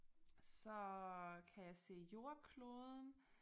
Så kan jeg se jordkloden